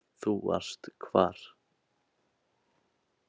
Þú varst hvar?